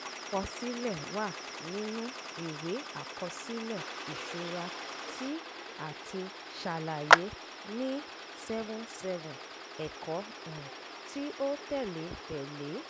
àkọsílẹ̀ wà nínu ìwé àkọsílẹ̀ ìṣura tí ati ṣàlàyé ní --- seventy seven --- ẹ̀kọ́ um tí ó tẹ̀lé tẹ̀lé e